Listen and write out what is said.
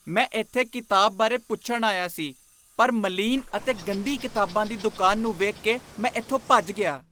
ਮੈਂ ਇੱਥੇ ਕਿਤਾਬ ਬਾਰੇ ਪੁੱਛਣ ਆਇਆ ਸੀ ਪਰ ਮਲੀਨ ਅਤੇ ਗੰਦੀ ਕਿਤਾਬਾਂ ਦੀ ਦੁਕਾਨ ਨੂੰ ਵੇਖ ਕੇ ਮੈਂ ਇੱਥੋਂ ਭੱਜ ਗਿਆ।